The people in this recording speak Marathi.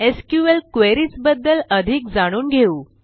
एसक्यूएल क्वेरीज बद्दल अधिक जाणून घेऊ